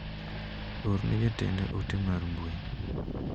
Orne ne jatenda ote mar mbui.